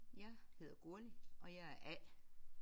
Jeg hedder Gurli og jeg er A